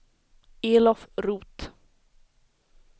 Elof Roth